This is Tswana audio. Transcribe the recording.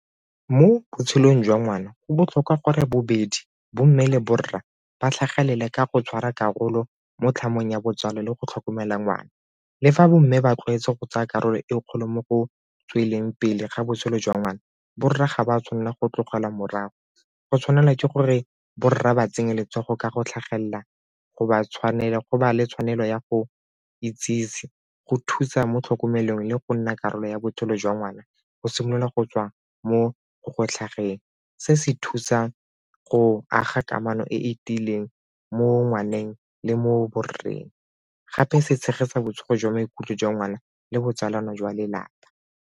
Mo botshelong jwa ngwana, go botlhokwa gore bobedi bo mmele borra ba tlhagelele ka go tshwara karolo mo tlhamong ya botsalo le go tlhokomela ngwana. Le fa bo mme ba tlwaetswe go tsaya karolo e kgolo mo go tsweletseng pele ga botshelo jwa ngwana borre ga ba tshwanela go tlogela morago go tshwanela ke gore bo rra ba tsenye letsogo ka go tlhagelela go ba le tshwanelo ya go itsese go thusa mo tlhokomelong le go nna karolo ya botshelo jwa ngwana go simolola go tswa mo go tlhageng. Se se thusa go aga kamano e e tiileng mo ngwaneng le mo borreng, gape se tshegetsa botsogo jwa maikutlo jwa ngwana le botsalano jwa lelapa.